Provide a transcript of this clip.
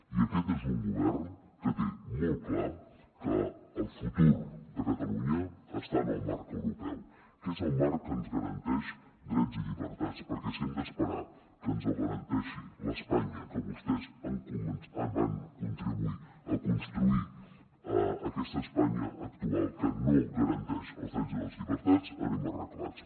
i aquest és un govern que té molt clar que el futur de catalunya està en el marc europeu que és el marc que ens garanteix drets i llibertats perquè si hem d’esperar que ens els garanteixi l’espanya que vostès van contribuir a construir aquesta espanya actual que no garanteix els drets i les llibertats anem arreglats